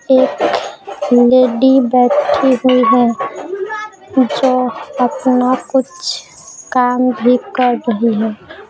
एक लेडी बैठी हुई है जो अपना कुछ काम भी कर रही है।